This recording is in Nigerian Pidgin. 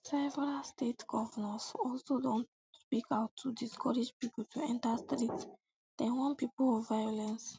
several state govnors also don speak out to discourage pipo to enta streets dem warn pipo of violence